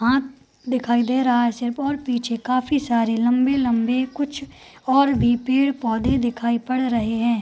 हाथ दिखाई दे रहा है सेब और पीछे काफी सारे लंबे-लंबे कुछ और भी पेड़-पौधे दिखाई पड़ रहे हैं।